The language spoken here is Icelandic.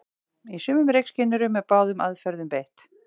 Í sumum reykskynjurum er báðum aðferðum beitt.